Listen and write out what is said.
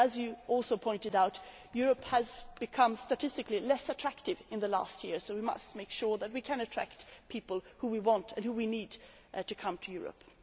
As she also pointed out, Europe has become statistically less attractive in the last year so we must make sure that we can attract the people who we want and who we need to come to Europe.